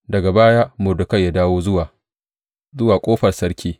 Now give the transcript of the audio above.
Daga baya, Mordekai ya dawo zuwa ƙofar sarki.